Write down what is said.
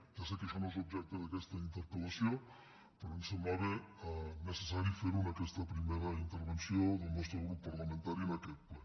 ja sé que això no és objecte d’aquesta interpel·lació però em semblava necessari fer ho en aquesta primera intervenció del nostre grup parlamentari en aquest ple